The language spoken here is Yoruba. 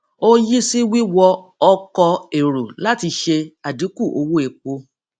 ó yí sí wíwọ ọkọ̀ èrò láti ṣe àdínkù owó epo